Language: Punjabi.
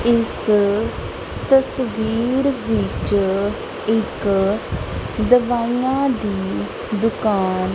ਇਸ ਤਸਵੀਰ ਵਿੱਚ ਇੱਕ ਦਵਾਇਆਂ ਦੀ ਦੁਕਾਨ --